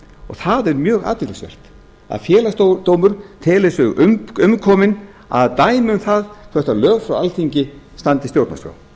er mjög athyglisvert að félagsdómur telur sig umkominn að það er mjög athyglisvert að félagsdómur telur sig umkominn að dæma um það hvort lög frá alþingi standist stjórnarskrá